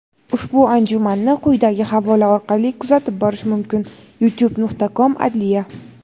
Ushbu anjumanni quyidagi havola orqali kuzatib borish mumkin: youtube.com/Adliya.